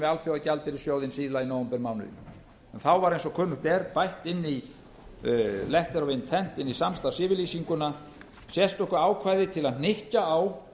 alþjóðagjaldeyrissjóðinn síðla í nóvembermánuði en þá var eins og kunnugt er bætt inn í samstarfsyfirlýsinguna sérstöku ákvæði til að hnykkja á